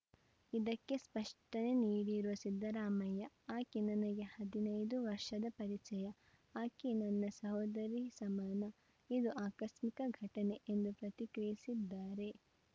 ಇದಕ್ಕೆ ಸ್ಪಷ್ಟನೆ ನೀಡಿರುವ ಸಿದ್ದರಾಮಯ್ಯ ಆಕೆ ನನಗೆ ಹದಿನೈದು ವರ್ಷದ ಪರಿಚಯ ಆಕೆ ನನ್ನ ಸೋದರಿ ಸಮಾನ ಇದು ಆಕಸ್ಮಿಕ ಘಟನೆ ಎಂದು ಪ್ರತಿಕ್ರಿಯಿಸಿದ್ದಾರೆ